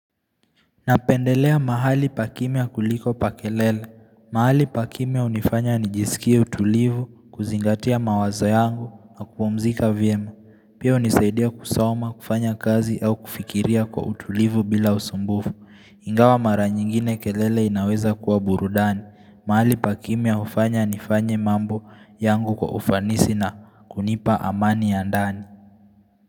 Napendelea mahali pakimya kuliko pa kelele. Mahali pa kimya unifanya nijisikia utulivu, kuzingatia mawazo yangu, napmzika venya. Pia unizaidia kusoma kufanya kazi au kufikiria kwa utulivu bila usumbufu. Ingawa mara nyingine kelele inaweza kuwa burudani. Mahali pakimya ufanya nifanye mambo yangu kwa ufanisi na kunipa amani ya ndani.